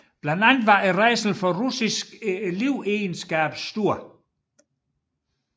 Blandt andet var rædslen for russisk livegenskab stor